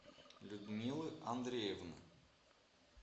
людмилы андреевны